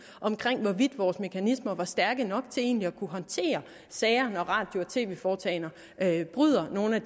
om hvorvidt vores mekanismer var stærke nok til egentlig at kunne håndtere sager når radio og tv foretagender bryder nogle af